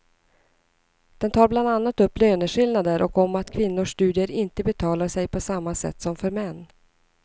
Den tar bland annat upp löneskillnader och om att kvinnors studier inte betalar sig på samma sätt som för män.